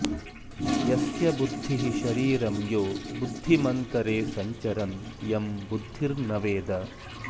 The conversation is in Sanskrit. यस्य बुद्धिः शरीरं यो बुद्धिमन्तरे संचरन् यं बुद्धिर्न वेद